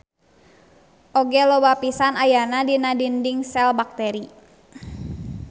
Oge loba pisan ayana dina dinding sel bakteri.